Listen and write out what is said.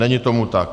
Není tomu tak.